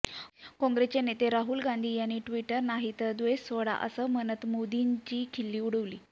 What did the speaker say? काँग्रेसचे नेते राहुल गांधी यांनी ट्विटर नाही तर द्वेष सोडा असं म्हणत मोदींची खिल्ली उडवली